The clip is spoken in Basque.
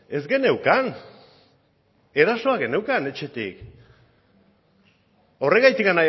ez geneukan erasoa genuen etxetik horregatik